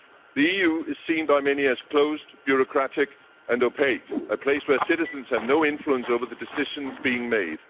The EU is seen by many as closed, bureaucratic and opaque, a place where citizens have no influence over the decisions being made.